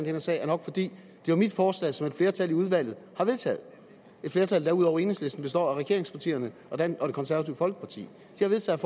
her sag er nok fordi det er mit forslag som et flertal i udvalget har vedtaget et flertal der ud over enhedslisten består af regeringspartierne og det konservative folkeparti de har vedtaget